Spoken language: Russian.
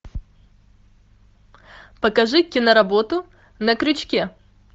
покажи киноработу на крючке